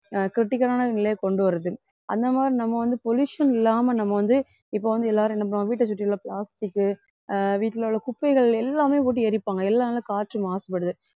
ஆஹ் critical ஆன நிலையை கொண்டு வருது அந்த மாதிரி நம்ம வந்து pollution இல்லாம நம்ம வந்து இப்போ வந்து எல்லாரும் என்ன பண்ணுவோம் வீட்டை சுற்றி உள்ள வீட்ல உள்ள plastic ஆஹ் வீட்ல உள்ள குப்பைகள் எல்லாமே போட்டு எரிப்பாங்க எல்லாமே காற்று மாசுபடுது